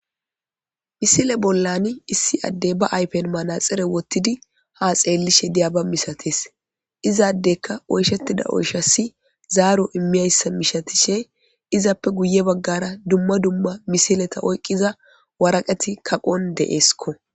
Misile bollan issi addey ba aypen manaxire wottidi ha xeellishe diya ba misates izaaddekka oyshettida oyshassi zaaro immiyayssa mishatishe izappe guye baggara dumma dumma misileta oyqqiza waraqeti kaqon deesko.